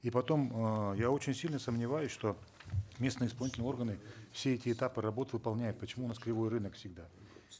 и потом эээ я очень сильно сомневаюсь что местные исполнительные органы все эти этапы работ выполняют почему у нас кривой рынок всегда